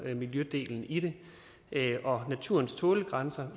miljødelen i det og naturens tålegrænser